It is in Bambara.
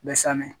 Bɛ san dɛ